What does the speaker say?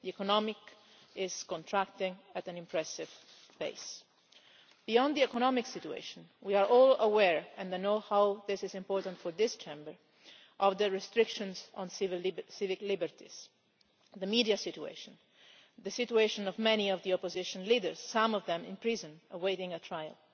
The economy is contracting at an impressive pace. Beyond the economic situation we are all aware, and I know how important this is for this Chamber, of the restrictions on civil liberties, the media situation, the situation of many of the opposition leaders, some of them in prison awaiting trial.